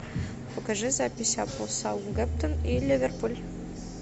покажи запись апл саутгемптон и ливерпуль